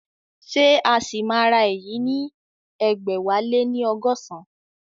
Ṣé a sì máa ra èyí ní ẹgbẹ̀wáléní ọgọ́san?